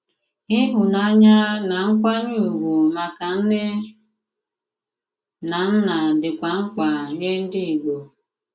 Ịhùnànyà na nkwànyè ùgwù maka nnè na nnà dịkwà mk̀pà nye ndị Ìgbò.